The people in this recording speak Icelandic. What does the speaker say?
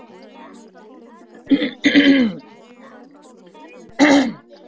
Athyglisverða staðreynd má lesa út úr línuritinu.